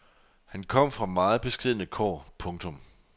Han kom fra meget beskedne kår. punktum